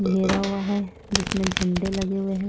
घेरा हुआ है जिसमें झंडे लगे हुए हैं।